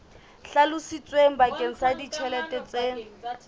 hlalositsweng bakeng sa ditjhelete tse